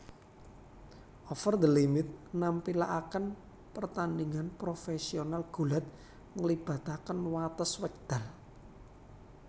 Over the Limit nampilakèn pertandingan profesional gulat nglibatakèn watès wèkdal